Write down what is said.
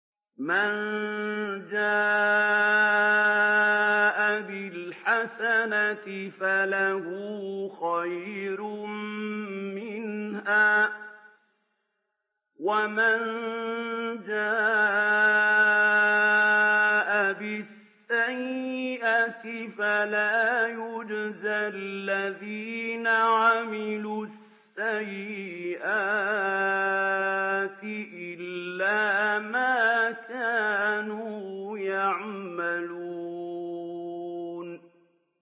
مَن جَاءَ بِالْحَسَنَةِ فَلَهُ خَيْرٌ مِّنْهَا ۖ وَمَن جَاءَ بِالسَّيِّئَةِ فَلَا يُجْزَى الَّذِينَ عَمِلُوا السَّيِّئَاتِ إِلَّا مَا كَانُوا يَعْمَلُونَ